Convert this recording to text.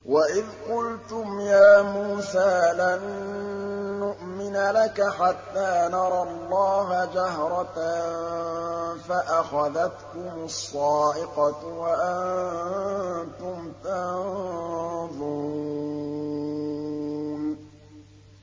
وَإِذْ قُلْتُمْ يَا مُوسَىٰ لَن نُّؤْمِنَ لَكَ حَتَّىٰ نَرَى اللَّهَ جَهْرَةً فَأَخَذَتْكُمُ الصَّاعِقَةُ وَأَنتُمْ تَنظُرُونَ